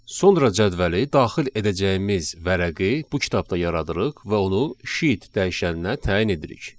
Sonra cədvəli daxil edəcəyimiz vərəqi bu kitabda yaradırıq və onu sheet dəyişənnə təyin edirik.